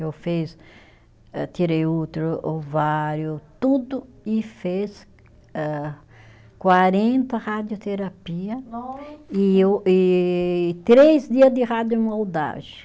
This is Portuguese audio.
Eu fiz eh tirei o útero, ovário, tudo e fez âh, quarenta radioterapia. Nossa! E eu e três dia de radiomoldagem.